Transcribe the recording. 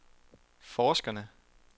forskerne